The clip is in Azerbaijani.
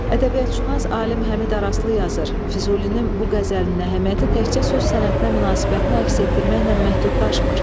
Ədəbiyyatşünas alim Həmid Araslı yazır: Füzulinin bu qəzəlinin əhəmiyyəti təkcə söz sənətinə münasibətini əks etdirməklə məhdudlaşmır.